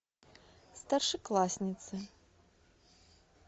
старшеклассницы